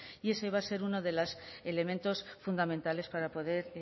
y ese va a ser uno de los elementos fundamentales para poder